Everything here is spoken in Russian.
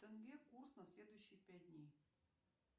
тенге курс на следующие пять дней